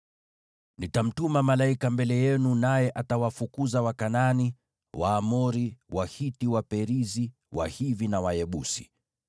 Nitamtuma malaika mbele yenu, naye atawafukuza Wakanaani, Waamori, Wahiti, Waperizi, Wahivi na Wayebusi.